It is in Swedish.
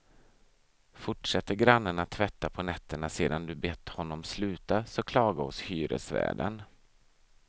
Fortsätter grannen att tvätta på nätterna sedan du bett honom sluta så klaga hos hyresvärden.